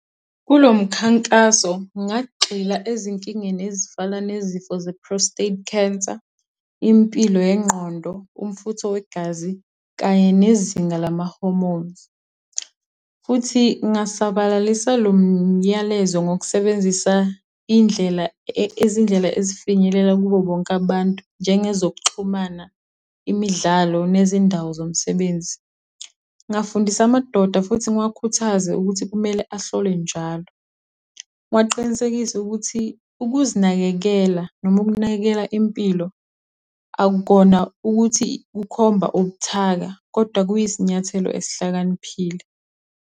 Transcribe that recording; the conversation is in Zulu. Kulo mkhankaso ngagxila ezinkingeni ezifana nezifo ze-prostate cancer, impilo yengqondo, umfutho wegazi, kanye nezinga lama-hormons. Futhi ngasabalalisa lomyalezo ngokusebenzisa indlela, izindlela ezifinyelela kubo bonke abantu, njenge zokuxhumana, imidlalo, nezindawo zomsebenzi. Ngafundisa amadoda futhi ngiwakhuthaze ukuthi kumele ahlolwe njalo. Ngiwaqinisekise ukuthi ukuzinakekela noma ukunakekela impilo akukona ukuthi kukhomba ubuthaka, kodwa kuyisinyathelo esihlakaniphile.